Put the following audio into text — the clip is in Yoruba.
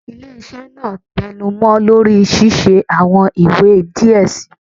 Ile-iṣẹ naa tẹnumọ lori ṣiṣe awọn iwe diẹ sii